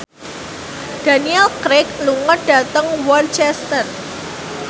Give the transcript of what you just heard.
Daniel Craig lunga dhateng Worcester